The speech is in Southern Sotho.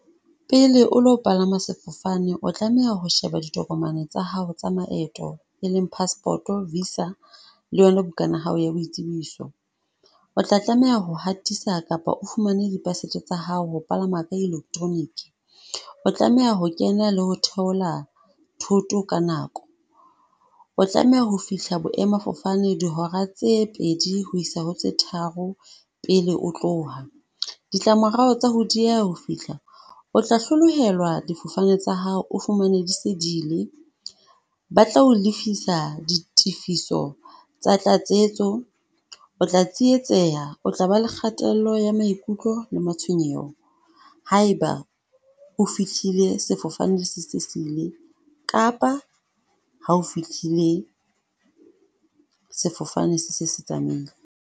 Pele o lo palama sefofane, o tlameha ho sheba ditokomane tsa hao tsa maeto e leng passport-o, visa le yona bukana ya hao ya boitsebiso. O tla tlameha ho hatisa kapa o fumane di pasetso tsa hao ho palama ka electronic. O tlameha ho kena le ho theola thoto ka nako, o tlameha ho fihla boemafofane dihora tse pedi ho isa ho tse tharo pele o tloha. Ditlamorao tsa ho dieha ho fihla, o tla hlolohelwa difofane tsa hao, o fumane di se di ile. Ba tla o lefisa di tifiso tsa tlatsetso, o tla tsietseha o tla ba le kgatello ya maikutlo le matshwenyeho, ha e ba o fihlile sefofane se se se ile kapa ha o fihlile sefofane se se se tsamaile.